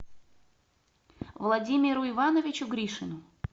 владимиру ивановичу гришину